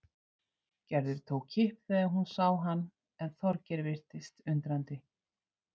Gerður tók kipp þegar hún sá hann en Þorgeir virtist undrandi.